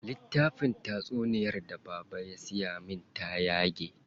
Littafin tatsunyar da baba ya siya min ta yage.